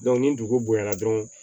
ni dugu bonyana dɔrɔn